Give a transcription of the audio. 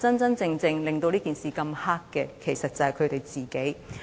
真正令這件事這麼黑的，其實是他們自己。